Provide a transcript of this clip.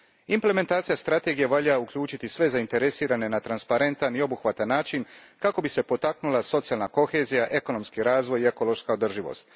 Implementacija strategije valja uključiti sve zainteresirane na transparentan i obuhvatan način kako bi se potaknula socijalna kohezija, ekonomski razvoj i ekološka održivost.